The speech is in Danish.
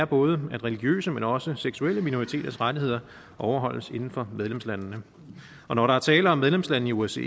både at religiøse men også seksuelle minoriteters rettigheder overholdes inden for medlemslandene og når der er tale om medlemslande i osce